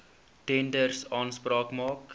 tenders aanspraak maak